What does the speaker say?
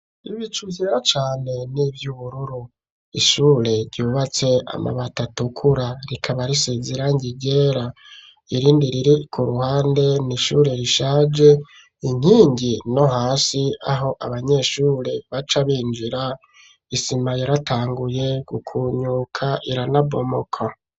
Ibicugera cane n'ivy'ubururu ,ishure ryubatse amabati Atukura, rikaba risizirangi ryera ,irindi riri ku ruhande nishure rishaje ,inkingi no hasi aho abanyeshure baca binjira, isima yaratanguye gukunyuka, iranabomoka.